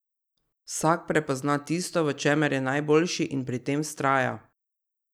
Vsak prepozna tisto, v čemer je najboljši, in pri tem vztraja.